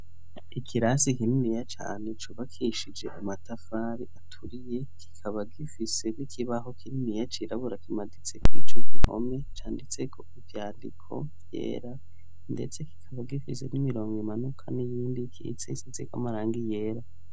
Ikirasi kininiya cane cubakishije amatafari aturiye, kikaba gifise n'ikibaho kininiya cirabura kimaditse kuri ico gihome canditseko ivyandiko vyera, ndetse kikaba gifise n'imirongo imanuka n'iyindi ikitse isizeko amarangi yera.